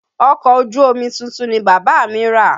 Ọkọ̀ ojú omi tuntun ni bàbá mí rà.